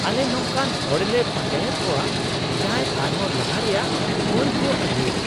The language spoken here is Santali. ᱟᱞᱮ ᱱᱚᱝᱠᱟᱱ ᱦᱚᱲᱞᱮ ᱯᱟᱸᱡᱟᱭᱮᱫ ᱠᱚᱣᱟ ᱡᱟᱦᱟᱸᱭ ᱟᱨᱦᱚᱸ ᱞᱟᱦᱟ ᱨᱮᱭᱟᱜ ᱢᱟᱹᱱ ᱠᱚ ᱟᱹᱜᱩᱭᱟ ᱾